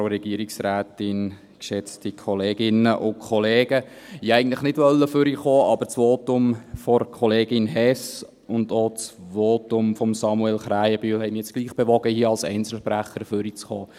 Ich wollte eigentlich nicht nach vorne kommen, aber das Votum von Kollegin Hess und auch das Votum von Samuel Krähenbühl haben mich nun doch bewogen, hier als Einzelsprecher nach vorne zu kommen.